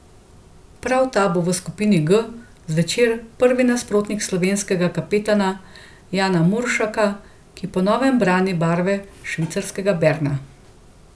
Prav ta bo v skupini G zvečer prvi nasprotnik slovenskega kapetana Jana Muršaka, ki po novem brani barve švicarskega Berna.